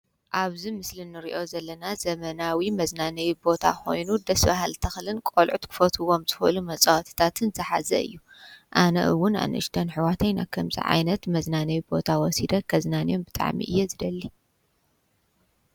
ኣብዚ ምስሊ እንሪኦ ዘለና ዘመናዊ መዝናነዪ ቦታ ኮይኑ ደስ በሃሊ ተክልን ቆልዑት ክፈትይዎም ዝክእሉ መፃወትታት ዝሓዘ እዩ። ኣነ ውን ኣንእሽተን ኣሕዋተይ ናብ ከምዚ ዓይነት መዝናነዪ ቦታ ወሲደ ከዝናንዮም ብጣዕሚ እየ ዝደሊ።